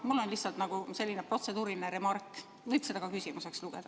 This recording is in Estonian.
Mul on lihtsalt selline protseduuriline remark, aga seda võib ka küsimuseks lugeda.